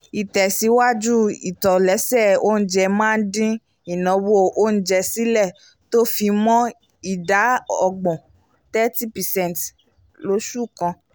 ìtẹ́síwájú ìtòléṣe oúnjẹ máa ń din ináwó oúnjẹ sílẹ̀ tó fi mọ́ ida ọgbọ́n 30 percent lósù kan